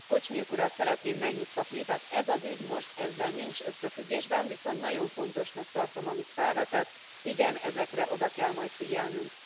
Kuzmiuk urat szeretném megnyugtatni, tehát ez az ügy most ezzel nincs összefüggésben, viszont nagyon fontosnak tartom amit felvetett, igen, ezekre oda kell majd figyelnünk.